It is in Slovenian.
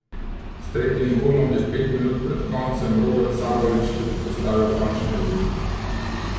S tretjim golom je pet minut pred koncem Robert Sabolič tudi postavil končni izid.